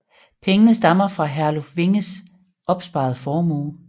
Pengene stammede fra Herluf Winges opsparede formue